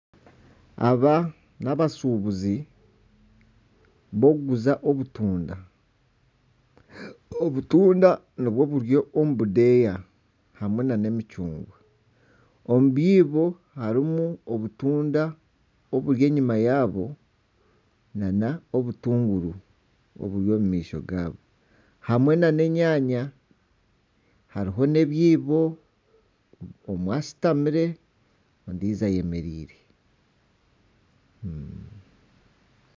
Aba n'abashuubuzi b'okuguza obutunda, obutunda nibwo buri omu bideeya hamwe na n'emicungwa omu byiibo harimu obutunda oburi enyuma yaabo nana obutuguuru oburi omu maisho gaabo hamwe na n'enyanya hariho n'ebyiibo omwe ashutamire ondiijo ayemereire.